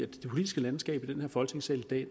det politiske landskab i denne folketingssal i dag